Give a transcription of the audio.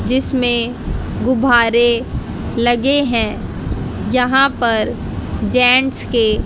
जिसमें गुब्बारे लगे हैं यहां पर जेंट्स के--